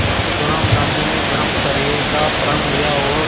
इसी दौरान गांधी ने ब्रह्मचर्य का प्रण लिया और